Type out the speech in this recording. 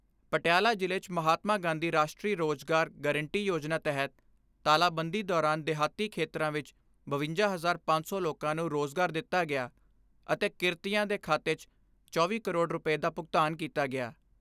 ਪਟਿਆਲਾ ਜ਼ਿਲ੍ਹੇ 'ਚ ਮਹਾਤਮਾ ਗਾਂਧੀ ਰਾਸ਼ਟਰੀ ਰੋਜ਼ਗਾਰ ਗਰੰਟੀ ਯੋਜਨਾ ਤਹਿਤ ਤਾਲਾਬੰਦੀ ਦੌਰਾਨ ਦਿਹਾਤੀ ਖੇਤਰਾਂ ਵਿਚ ਬਵੰਜਾ ਹਜ਼ਾਰ ਪੰਜ ਸੌ ਲੋਕਾਂ ਨੂੰ ਰੋਜ਼ਗਾਰ ਦਿੱਤਾ ਗਿਆ ਅਤੇ ਕਿਰਤੀਆਂ ਦੇ ਖਾਤੇ 'ਚ ਚੌਵੀ ਕਰੋੜ ਰੁਪੈ ਦਾ ਭੁਗਤਾਨ ਕੀਤਾ ਗਿਆ।